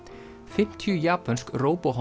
fimmtíu japönsk